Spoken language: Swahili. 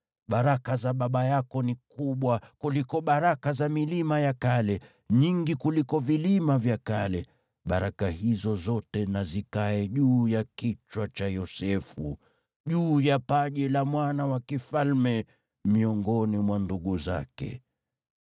Baraka za baba yako ni kubwa kuliko baraka za milima ya kale, nyingi kuliko vilima vya kale. Baraka hizo zote na zikae juu ya kichwa cha Yosefu, juu ya paji la yule mkuu miongoni mwa ndugu zake.